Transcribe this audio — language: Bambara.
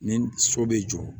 Ni so bɛ jɔ